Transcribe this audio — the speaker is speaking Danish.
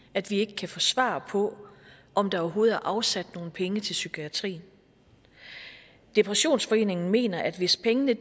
at vi ikke kan få svar på om der overhovedet er afsat nogen penge til psykiatrien depressionsforeningen mener at hvis pengene